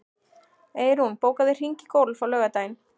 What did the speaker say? Eyrún, bókaðu hring í golf á laugardaginn.